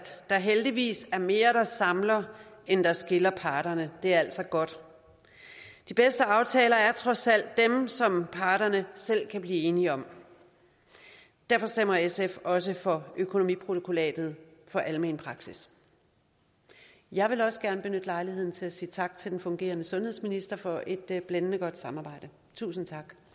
der heldigvis er mere der samler end der skiller parterne det er altså godt de bedste aftaler er trods alt dem som parterne selv kan blive enige om derfor stemmer sf også for økonomiprotokollatet for almen praksis jeg vil også gerne benytte lejligheden til at sige tak til den fungerende sundhedsminister for et blændende godt samarbejde tusind